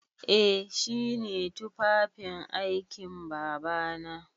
Eh shi ne tufafin aikin Babana.